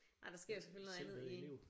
Nej der sker jo selvfølgelig noget andet i